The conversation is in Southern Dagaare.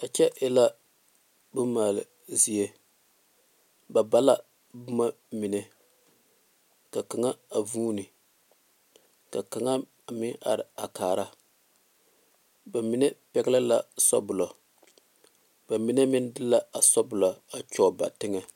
A kyɛ e la bone male zie ba bala boma mine ka kaŋa a vune ka kaŋa meŋ are kaare ba mine pɛle le la saboloŋ ba mine meŋ maŋ de la a saboloŋ kyoŋ ba teŋɛ.